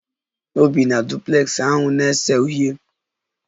Ọ na-ebi na duplex ahụ na-ese uhie